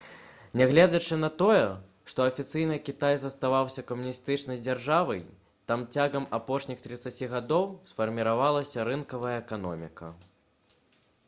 нягледзячы на тое што афіцыйна кітай заставаўся камуністычнай дзяржавай там цягам апошніх трыццаці гадоў сфарміравалася рынкавая эканоміка